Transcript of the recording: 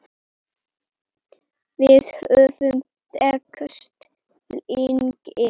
Við höfum þekkst lengi